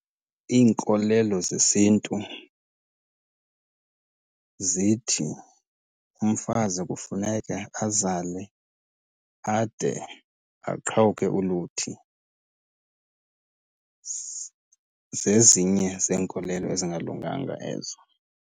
Iinkolelo zesiNtu zithi umfazi kufuneka azale ade aqhawuke uluthi. Zezinye zeenkolelo ezingalunganga ezo.